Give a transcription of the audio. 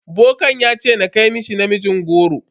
Bokan ya ce ta kai mishi namijin goro.